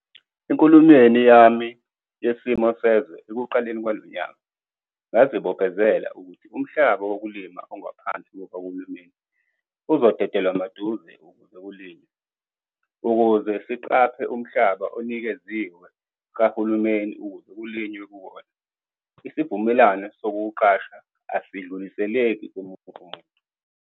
Enkulumweni yami Yesimo Sezwe ekuqaleni kwalo nyaka ngazibophezela ukuthi umhlaba wokulima ongaphansi kukahulumeni uzodede lwamaduze ukuze kulinywe. Ukuze siqaphe umhlaba onikeziwe kahulumeni ukuze kulinywe kuwona, isivumelwano sokuwuqasha asidluliseleki komunye umuntu.